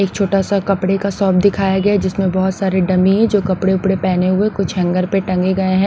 एक छोटा सा कपड़े का शॉप दिखाया गया हैजिसमें बहुत सारे डमी है जो कपड़े-उपड़े पहने हुए कुछ हैंगर प टंगे गए हैं।